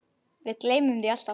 Við gleymum því alltaf